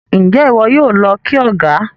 Njé iwọ yóò ló kí ọgá?